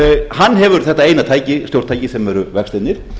hann hefur þetta eina stjórntæki sem eru vextirnir